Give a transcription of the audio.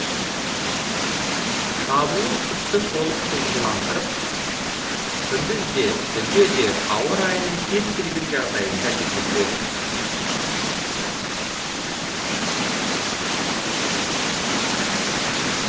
шабуыл күшті толық шоғырландырып күндіз де түнде де ауа райының кез келген жағдайында жүргізіледі